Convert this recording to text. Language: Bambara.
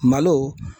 Malo